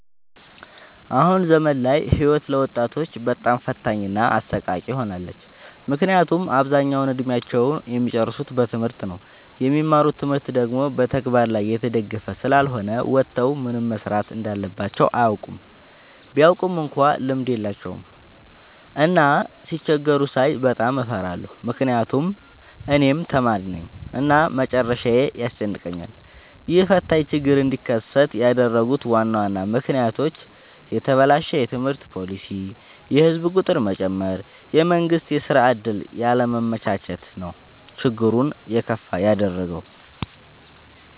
አሁን ዘመን ላይ ህይወት ለወጣቶች በጣም ፈታኝ እና አሰቃቂ ሆናለች። ምክንያቱም አብዛኛውን እድሜአቸውን እሚጨርሱት በትምህርት ነው። የሚማሩት ትምህርት ደግሞ በተግበር ላይ የተደገፈ ስላልሆነ ወተው ምን መስራት እንዳለባቸው አያውቁም። ቢያውቁ እንኳን ልምድ የላቸውም። እና ሲቸገሩ ሳይ በጣም እፈራለሁ ምክንያቱም እኔም ተማሪነኝ እና መጨረሻዬ ያስጨንቀኛል። ይህ ፈታኝ ችግር እንዲከሰት ያደረጉት ዋና ዋና ምክንያቶች፦ የተበላሸ የትምህርት ፓሊሲ፣ የህዝብ ቁጥር መጨመር፣ የመንግስት የስራ ዕድል ያለማመቻቸት ነው። ችግሩን የከፋ ያደረገው።